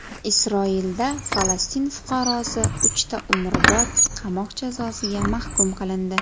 Isroilda Falastin fuqarosi uchta umrbod qamoq jazosiga mahkum qilindi.